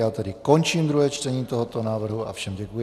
Já tedy končím druhé čtení tohoto návrhu a všem děkuji.